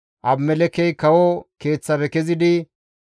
Abimelekkey kawo keeththafe kezidi,